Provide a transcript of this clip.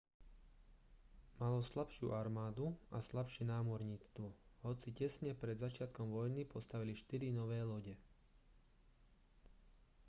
malo slabšiu armádu a slabšie námorníctvo hoci tesne pred začiatkom vojny postavili štyri nové lode